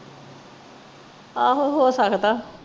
ਆਹੋ ਹੋ ਸਕਦਾ।